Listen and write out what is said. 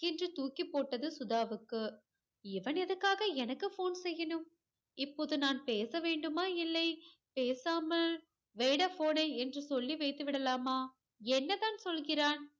திடுக்கென்று தூக்கி போட்டது சுதாவுக்கு இவன் எதற்க்காக எனக்கு phone செய்யணும் இப்போது நான் பேச வேண்டுமா இல்லை பேசாமல் வைடா phone ஐ என்று சொல்லி வைத்துவிடலாமா என்னதான் சொல்கிறான்